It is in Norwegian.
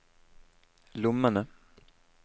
lommene